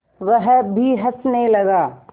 वह भी हँसने लगा